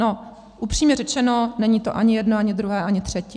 No upřímně řečeno, není to ani jedno, ani druhé, ani třetí.